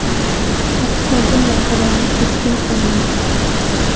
Pokiston bunday qarorni keskin qoralagan.